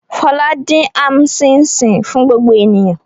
Fọlá dín am ṣíín-ṣiìn fún gbogbo ènìyàn.